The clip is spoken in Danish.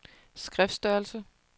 skriftstørrelse